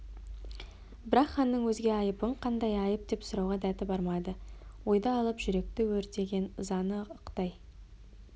бірақ ханның өзге айыбың қандай айып деп сұрауға дәті бармады ойды алып жүректі өртеген ызаны ықтай